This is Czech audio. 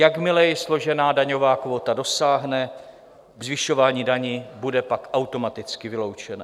Jakmile je složená daňová kvóta dosáhne, zvyšování daní bude pak automaticky vyloučené.